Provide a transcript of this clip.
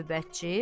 Növbətçi: